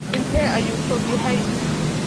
Intee ayuu fog yahay?